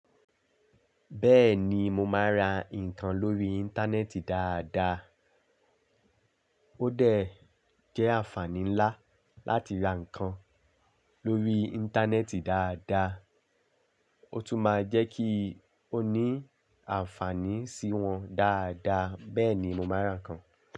Bẹ́ẹ̀ni mó máa ń rá nǹkan lórí Íńtánẹ́ẹ̀tì dáadáa. Ó dẹ̀ jẹ́ àǹfààní ńlá láti ra nǹkan lórí Íńtánẹ́ẹ̀tì dáadáa, ó tún máa ń jẹ́ kí o ní àǹfààní sí wọn dáadáa, bẹ́ẹ̀ ni mo máa ń ra nǹkan.